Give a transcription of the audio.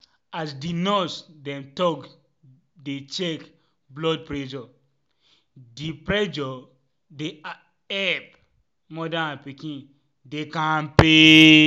as di nurse dem talk to dey check blood pressure dey pressure dey epp moda and pikin dey kampe.